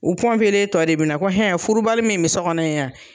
U tɔ de bi na ko hɛn furubali min bi so kɔnɔ yen yan.